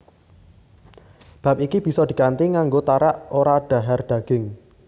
Bab iki bisa dikanthi nganggo tarak ora dhahar daging